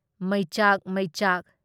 ꯃꯩꯆꯥꯛ ꯃꯩꯆꯥꯛ